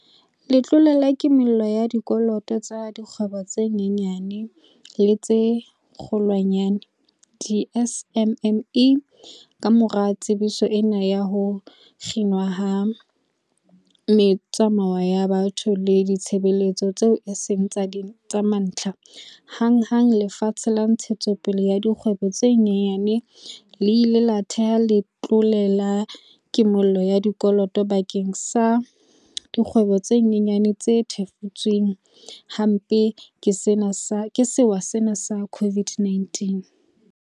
Letlole la Kimollo ya Dikoloto tsa Dikgwebo tse Nyenyane le tse Kgolwanyane, di-SMME, Kamora tsebiso ena ya ho kginwa ha metsamao ya batho le ditshebeletso tseo e seng tsa mantlha, hanghang Lefapha la Ntshetsopele ya Dikgwebo tse Nyenyane le ile la thea letlole la ki-mollo ya dikoloto bakeng sa dikgwebo tse nyenyane tse thefutsweng hampe ke sewa sena sa COVID-19.